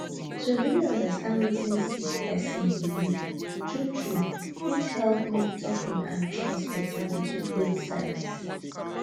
to really understand wetin sick person believe true true fit help make talking and trust better between both sides